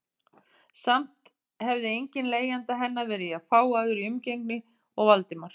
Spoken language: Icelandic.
Samt hefði enginn leigjenda hennar verið jafn fágaður í umgengni og Valdimar.